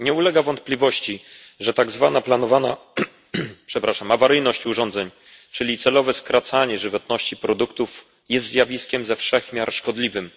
Nie ulega wątpliwości, że tak zwana planowana awaryjność urządzeń, czyli celowe skracanie żywotności produktów, jest zjawiskiem ze wszech miar szkodliwym.